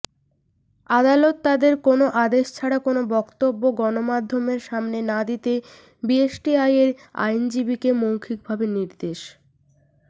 আদালত তাদের কোনো আদেশ ছাড়া কোনো বক্তব্য গণমাধ্যমের সামনে না দিতে বিএসটিআইয়ের আইনজীবীকে মৌখিকভাবে নির্দেশ